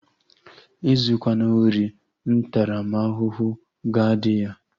Ezukwana ori! Ntaramahụhụ ga-adị ya!